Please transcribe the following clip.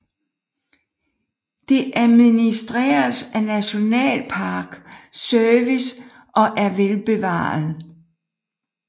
Det administreres af National Park Service og er velbevaret